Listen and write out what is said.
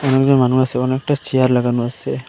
একজন মানুষ আসে অনেকটা চেয়ার লাগানো আসে।